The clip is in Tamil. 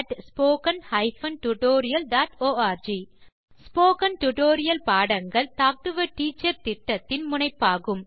contactspoken tutorialorg ஸ்போகன் டுடோரியல் பாடங்கள் டாக் டு எ டீச்சர் திட்டத்தின் முனைப்பாகும்